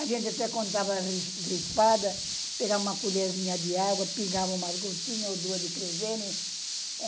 A gente até quando tava gripada, pegava uma colherzinha de água, pingava umas gotinha ou duas de querosene.